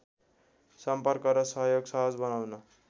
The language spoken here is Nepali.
सम्पर्क र सहयोग सहज बनाउन